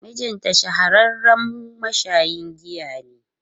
Mijinta shahararren mashayin giya ne.